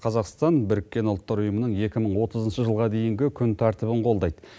қазақстан біріккен ұлттар ұйымының екі мың отызыншы жылға дейінгі күн тәртібін қолдайды